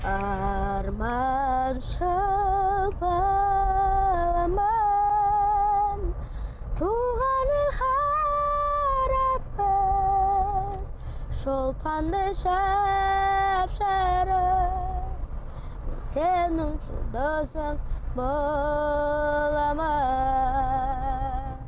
арманшыл баламын шолпандай жап жарық сенің жұлдызың боламын